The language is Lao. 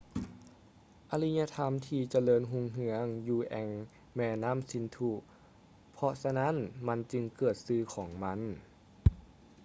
ອາລິຍະທຳທີ່ຈະເລີນຮຸ່ງເຮືອງຢູ່ແອ່ງແມ່ນ້ຳສິນທຸ ເພາະສະນັ້ນມັນຈຶ່ງເກີດຊື່ຂອງມັນ